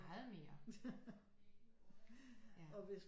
Meget mere ja